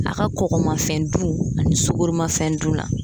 A ka kɔkɔmafɛn dun ani sugoromafɛn dun na